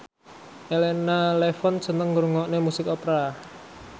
Elena Levon seneng ngrungokne musik opera